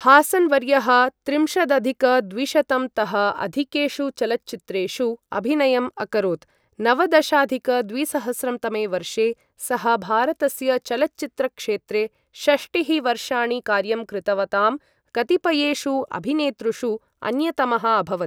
हासन् वर्यः त्रिंशदधिक द्विशतं तः अधिकेषु चलच्चित्रेषु अभिनयम् अकरोत्, नवदशाधिक द्विसहस्रं तमे वर्षे सः भारतस्य चलच्चित्रक्षेत्रे षष्टिः वर्षाणि कार्यं कृतवतां कतिपयेषु अभिनेतृषु अन्यतमः अभवत्।